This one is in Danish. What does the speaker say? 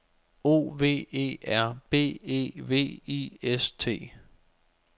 O V E R B E V I S T